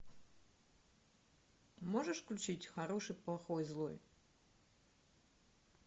можешь включить хороший плохой злой